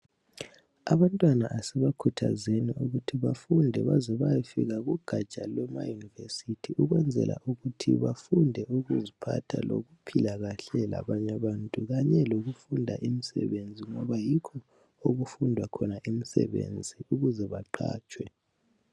Abantwana asibakhuthazeni ukuthi bafunde baze bayefika kugatsha lwema university ukwenzela ukuthi bafunde ukuziphatha lokuphila kahle labanye abantu kanye lokufunda imisebenzi ngoba yikho okufundwa khona imisebenzi ukuze baqhatshwe.